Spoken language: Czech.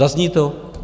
Zazní to?